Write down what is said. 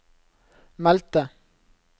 meldte